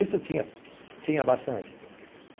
Isso tinha, tinha bastante.